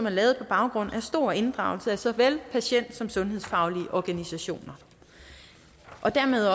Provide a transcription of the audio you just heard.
lavet på baggrund af stor inddragelse af såvel patienter som sundhedsfaglige organisationer og dermed